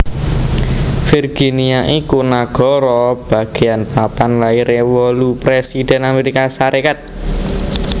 Virginia iku nagara bagéyan papan lairé wolu présidhèn Amérika Sarékat